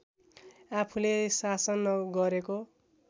आफूले शासन गरेको